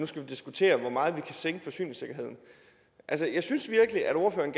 skal diskutere hvor meget vi kan sænke forsyningssikkerheden jeg synes virkelig at ordføreren